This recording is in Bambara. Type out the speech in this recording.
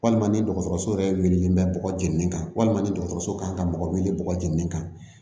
Walima ni dɔgɔtɔrɔso yɛrɛ wililen bɛ bɔgɔ jeni kan walima ni dɔgɔtɔrɔso kan ka mɔgɔ wele bɔgɔ jeninen kan